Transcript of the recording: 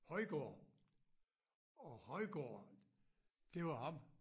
Højgaard og Højgaard det var ham